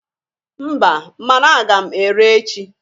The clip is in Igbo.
Mba mana aga m ere echi.